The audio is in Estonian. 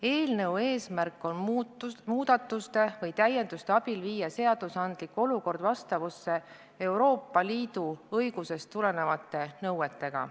Eelnõu eesmärk on muudatuste või täienduste abil viia seadusandlik olukord vastavusse Euroopa Liidu õigusest tulenevate nõuetega.